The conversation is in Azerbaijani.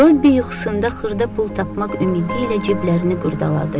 Robbi yuxusunda xırda pul tapmaq ümidi ilə ciblərinə qurdaladı.